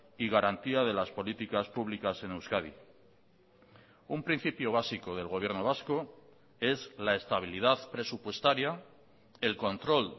y garantía de las políticas públicas en euskadi un principio básico del gobierno vasco es la estabilidad presupuestaria el control